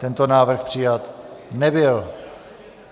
Tento návrh přijat nebyl.